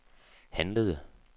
handlede